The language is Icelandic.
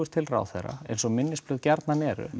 til ráðherra eins og minnisblöð gjarnan eru